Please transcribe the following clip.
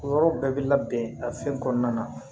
O yɔrɔ bɛɛ bɛ labɛn a fɛn kɔnɔna na